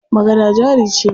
Magana jari ce.